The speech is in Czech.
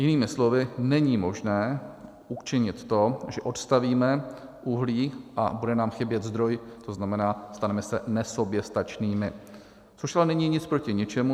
Jinými slovy není možné učinit to, že odstavíme uhlí a bude nám chybět zdroj, to znamená, staneme se nesoběstačnými, což ale není nic proti ničemu.